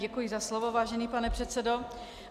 Děkuji za slovo, vážený pane předsedo.